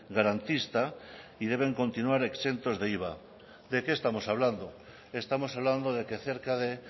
garantista y deben continuar exentos de iva de qué estamos hablando estamos hablando de que cerca de